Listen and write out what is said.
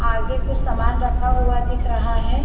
आगे कुछ सामान रखा हुआ दिख रहा है।